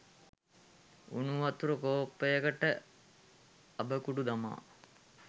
උණු වතුර කෝප්පයකට අබ කුඩු දමා